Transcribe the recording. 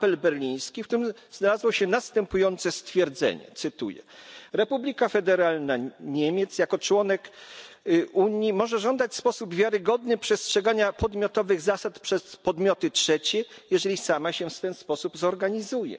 apel berliński, w którym znalazło się następujące stwierdzenie, cytuję Republika Federalna Niemiec jako członek Unii może żądać w sposób wiarygodny przestrzegania podmiotowych zasad przez podmioty trzecie, jeżeli sama się w ten sposób zorganizuje.